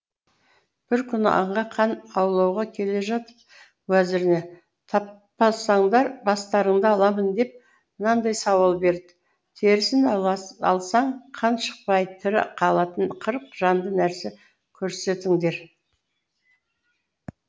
бір күні аңға хан аулауға келе жатып уәзіріне таппасаңдар бастарыңды аламын деп мынадай сауал берді терісін алсаң қан шықпай тірі қалатын қырық жанды нәрсе көрсетіңдер